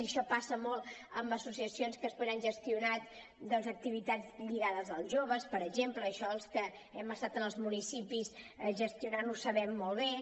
i això passa molt amb associacions que després han gestionat activitats lligades als joves per exemple i això els que hem estat en els municipis gestionant ho sabem molt bé